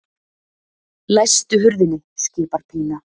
Læstu hurðinni, skipar Pína.